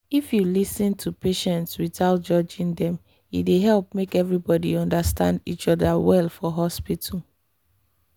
if you lis ten to patients without judging dem e dey help make everybody understand each other well for hospital.